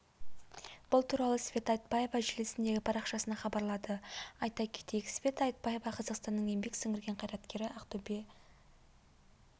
бұл туралы света айтбаева желісіндегі парақшасында хабарлады айта кетейік света айтбаева қазақстанның еңбек сіңірген қайраткері ақтөбе